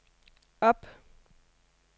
op